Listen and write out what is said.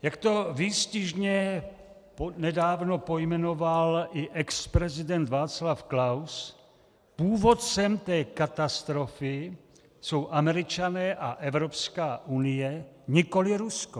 Jak to výstižně nedávno pojmenoval i exprezident Václav Klaus, původcem té katastrofy jsou Američané a Evropská unie, nikoliv Rusko.